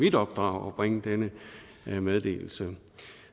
i opdrag at bringe denne meddelelse